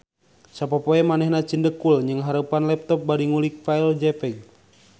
Sapopoe manehna cindekul nnyangharepan laptop bari ngulik file jpeg